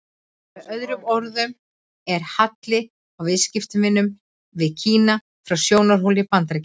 Með öðrum orðum er halli á viðskiptunum við Kína frá sjónarhóli Bandaríkjamanna.